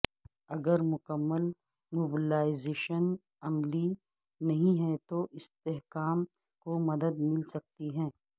اگر مکمل موبلائزیشن عملی نہیں ہے تو استحکام کو مدد مل سکتی ہے